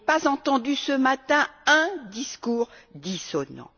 Je n'ai pas entendu ce matin un discours dissonant.